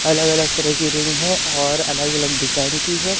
अलग अलग तरह की रिंग है और अलग अलग डिजाइन की है।